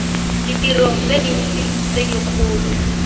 ditirong tse dintsi tse dikgolo